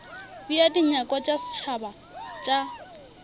bea dinyakwa tša setšhaba tša